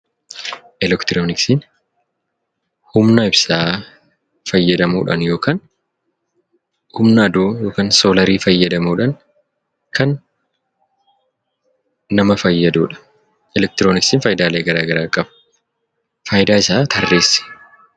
Elektirooniksiin humna ibsaa fayyadamuudhaan yookaan humna aduu yookaan soolarii fayyadamuudhaan kan nama fayyadudha. Elektirooniksiin faayidaalee garaa garaa qaba. Faayidaa isaa tarreessi.